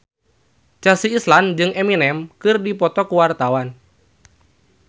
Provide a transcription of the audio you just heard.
Chelsea Islan jeung Eminem keur dipoto ku wartawan